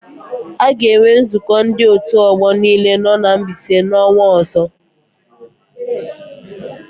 A ga-enwe nzụkọ ndị òtù ọgbọ niile nọ na Mbaise n'ọnwa ọ̀zọ́.